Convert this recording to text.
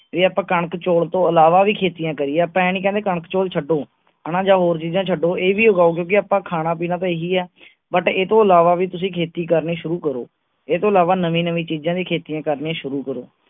ਜੇ ਆਪਾਂ ਕਣਕ, ਚੋਲ ਤੋਂ ਅਲਾਵਾ ਵੀ ਖੇਤੀਆਂ ਕਰੀਏ। ਆਪਾ ਏਹ ਨੀ ਕਹਿੰਦੇ ਕਿ ਕਣਕ, ਚਾਵਲ ਛੱਡੋ ਹਨ ਜਾ ਹੋਰ ਚੀਜਾਂ ਛੱਡੋ ਐਹ ਵੀ ਉਗਾਓ ਕਿਓਂਕਿ ਆਪਾਂ ਖਾਣਾ ਪੀਣਾ ਤਾ ਐਹੀ ਹੈ but ਇਹ ਤੋਂ ਅਲਾਵਾ ਵੀ ਤੁਸੀਂ ਖੇਤੀ ਕਰਨੀ ਸ਼ੁਰੂ ਕਰੋ ਇਹ ਤੋਂ ਅਲਾਵਾ ਨਵੀ-ਨਵੀ ਚੀਜਾਂ ਦੀਆਂ ਖੇਤੀ ਕਰਨੀਆਂ ਸ਼ੁਰੂ ਕਰੋ